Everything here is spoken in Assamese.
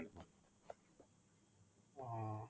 অ